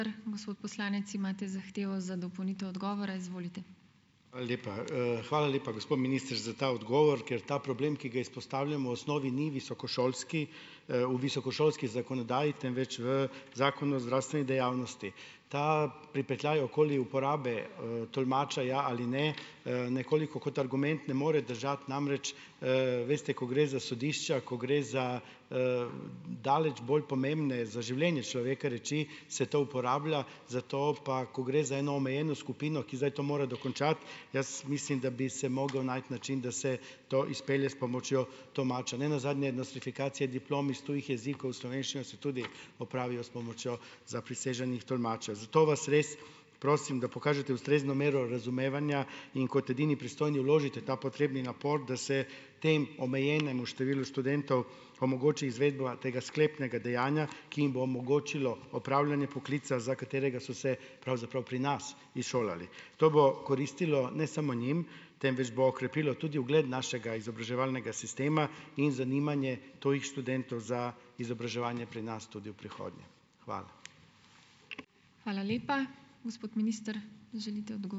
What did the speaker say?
Hvala lepa, hvala lepa, gospod minister, za ta odgovor, ker ta problem, ki ga izpostavljamo, osnovi ni visokošolski, v visokošolski zakonodaji, temveč v zakonu o zdravstveni dejavnosti. Ta pripetljaj okoli uporabe, tolmača, ja ali ne, nekoliko kot argument ne more držati, namreč, veste, ko gre za sodišča, ko gre za, daleč bolj pomembne za življenje človeka reči, se to uporablja, zato pa, ko gre za eno omejeno skupino, ki zdaj to mora dokončati, jaz mislim, da bi se mogel najti način, da se to izpelje s pomočjo tolmača. Ne nazadnje nostrifikacije diplom iz tujih jezikov v slovenščino se tudi opravijo s pomočjo zapriseženih tolmačev, zato vas res prosim, da pokažete ustrezno mero razumevanja in kot edini pristojni vložite ta potrebni napor, da se temu omejenemu številu študentov omogoči izvedba tega sklepnega dejanja, ki jim bo omogočilo opravljanje poklica, za katerega so se pravzaprav pri nas izšolali. To bo koristilo ne samo njim, temveč bo okrepilo tudi ugled našega izobraževalnega sistema in zanimanje tujih študentov za izobraževanje pri nas tudi v prihodnje. Hvala.